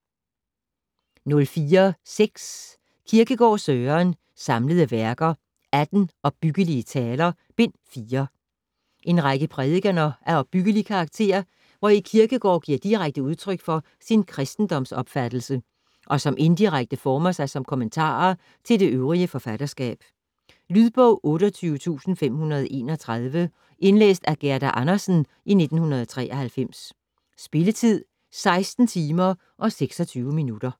04.6 Kierkegaard, Søren: Samlede Værker: Atten opbyggelige taler: Bind 4 En række prædikener af opbyggelig karakter, hvori Kierkegård giver direkte udtryk for sin kristendomsopfattelse, og som indirekte former sig som kommentarer til det øvrige forfatterskab. Lydbog 28531 Indlæst af Gerda Andersen, 1993. Spilletid: 16 timer, 26 minutter.